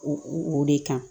U o de kan